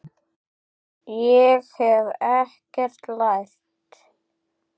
Ég hef ekkert lært.